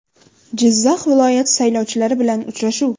Jizzax viloyati saylovchilari bilan uchrashuv.